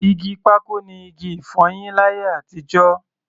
Igi pákò ni igi-ìfọyín láyé àtijọ́.